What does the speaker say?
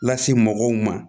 Lase mɔgɔw ma